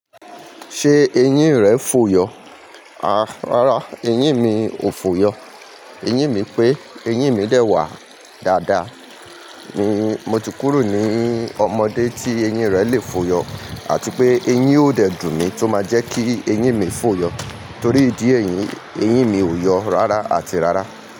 Ṣé eyín rẹ fò yọ? Àá, rárá, eyín mi ò fò yọ. Eyín mi pé, eyín mi dè wà dáadáa. Mi, mo ti kúrò ní ọmọdé tí eyín rẹ le fò yọ àti pé eyín ó dè dùn mí tó máa jẹ́ kí eyín mi fò yọ. Torí ìdí èyí, eyín mi ò yọ rárá àti rárá.